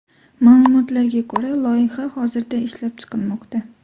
Ma’lumotlarga ko‘ra, loyiha hozirda ishlab chiqilmoqda.